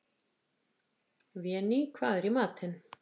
Véný, hvað er í matinn?